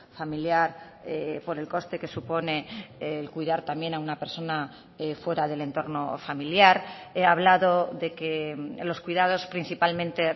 familiar por el coste que supone el cuidar también a una persona fuera del entorno familiar he hablado de que los cuidados principalmente